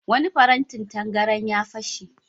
Wani farantin tangaran ya fashe.